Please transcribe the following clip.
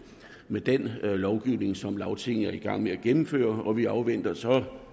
med den lovgivning som lagtinget er i gang med at gennemføre og vi afventer så